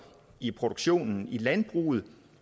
i produktionen i landbruget